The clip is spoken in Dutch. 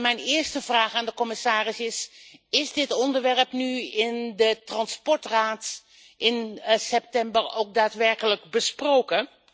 Mijn eerste vraag aan de commissaris is is dit onderwerp nu in de Transportraad in september ook daadwerkelijk besproken?